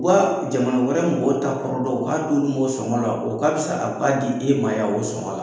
Wa jamana wɛrɛ mɔgɔw ta kɔrɔ dɔn, u k'a d'olu m'ɔ sɔngɔ la, o ka fisa a b'a di e ma yan o sɔngɔ la.